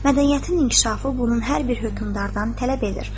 Mədəniyyətin inkişafı bunun hər bir hökmdardan tələb edir.